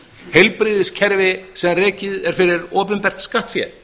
heilbrigðiskerfi sem rekið er fyrir opinbert skattfé